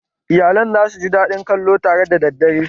Iyalan za su ji daɗin kallo tare da daddare